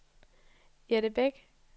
Jette Bech